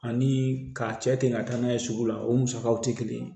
Ani ka cɛ ten ka taa n'a ye sugu la o musakaw tɛ kelen ye